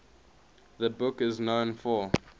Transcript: the book is known for